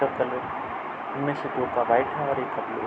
colour इनमें से दो का व्हाइट है और एक का ब्लू --